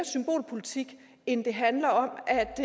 symbolpolitik end det handler om